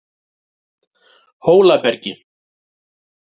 Hólabergi